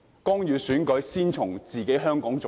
干預選舉，先從香港做起。